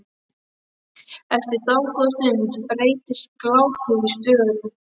Eftir dágóða stund breytist glápið í störu.